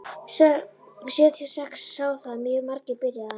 Sjötíu og sex sjá það mjög margir, byrjaði hann.